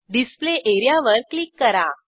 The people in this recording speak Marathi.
डिस्प्ले एरियावर क्लिक करा